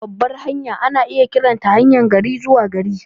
Babbar hanya ana iya kiranta haryar gari-zuwa-gari.